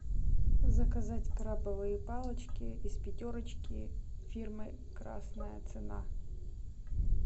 заказать крабовые палочки из пятерочки фирмы красная цена